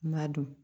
N'a don